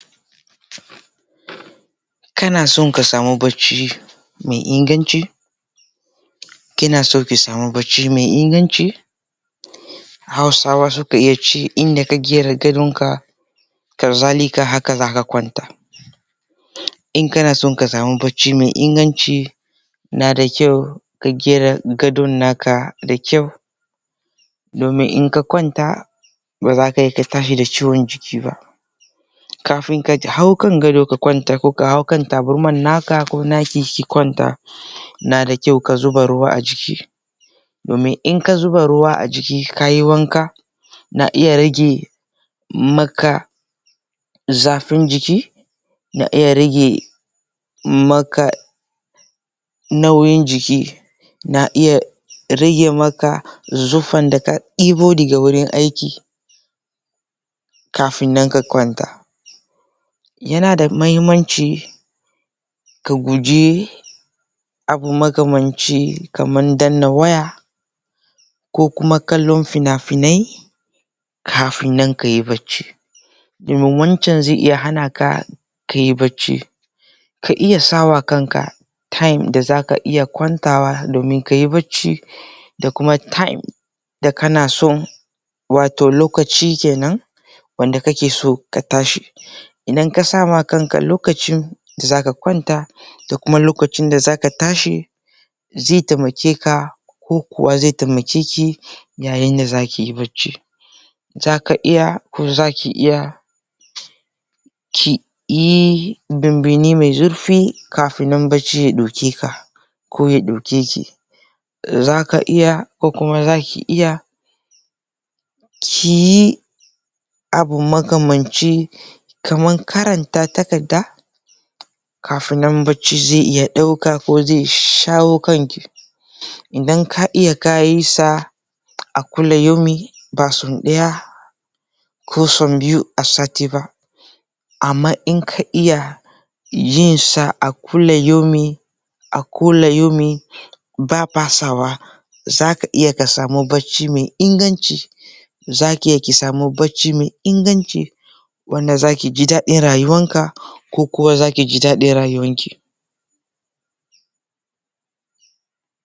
Kanaso ka samu bacci me inganci, kinaso ki samu bacci me inganci, hausa wa sunce yanda ka gyara gadonka haka zalika haka zaka kwanta. In kanaso ka samu bacci me inganci nada kyau ka gyara gadon naka da kyau. Domin in ka kwanta bazaka iya ka tashi da ciwon jiki ba. Kafin ka hau gadon ka kwanta koh ka hau tabarma naka koh naki ka kwanta nada kyau ka zuba ruwa a jiki domin inka zuba ruwa a jiki kayi wanka, na iya rage maka zafin jiki, na iya rage maka nauyin jiki na iya rage maka zufan da ka debo daga wurin aiki kafin nan ka kwanta. Yana da muhimmanci ka guji abu makamanci kaman danna waya, ko kuma kallon fina finai, kafin nan kayi bacci domin wancan ze iya hana ka kayi bacci. Ka iya sawa kanka time dinda zaka iya kwantawa domin kayi bacci da kuma time da kana son wato lokaci kenan wanda ka ke so ka tashi idan ka sa ma kanka lokacin da za ka kwanta da kuma lokacin da zaka tashi, zai taimake ka ko kuma zai taimake ki yayin da zakiyi bacci. zaka iya ko zaki iya kiyi binbini mai zurfi, kafinnan bacci ya daukeka ko ya dauke ki Zaka iya koh kuma zaki iya ki yi abu makamanci kaman karanta takarda kafin nan bacci ze iya dauka koh shawo kanki idan ka iya ka yi sa a kulli yaumin ba sau daya koh sau biyu a sati ba. amma in ka iya yinsa a kulla yaumin a kulla yaumin ba fasawa zaka iya ka samu bacci mai inganci zaki iya ki samu bacci mai inganci wanda zaka ji dadin rayuwanka koh kuwa wanda zaki ji dadin rayuwanki.